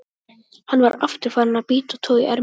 Hann var aftur farinn að bíta og toga í ermina.